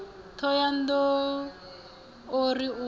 thohoyanḓ ou o ri u